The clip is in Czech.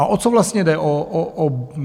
A o co vlastně jde?